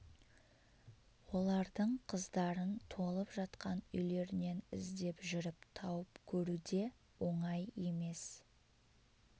олардың қыздарын толып жатқан үйлерінен іздеп жүріп тауып көру де оңай емес